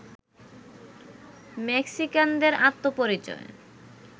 মেক্সিকানদের আত্মপরিচয়